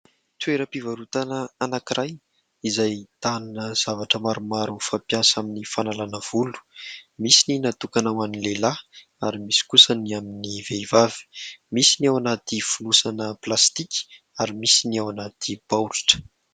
Toeram-pivarotana anankiray izay ahitana zavatra maromaro fampiasa amin'ny fanalana volo. Misy ny natokana ho an'ny lehilahy ary misy kosa ny amin'ny vehivavy. Misy ny ao anaty fonosana plastika ary misy ny ao anaty baoritra.